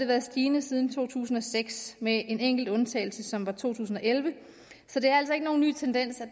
været stigende siden to tusind og seks med en enkelt undtagelse som var to tusind og elleve så det er altså ikke nogen ny tendens at